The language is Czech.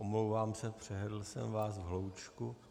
Omlouvám se, přehlédl jsem vás v hloučku.